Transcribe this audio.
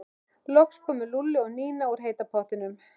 Loks komu Lúlli og Nína úr heita pottinum.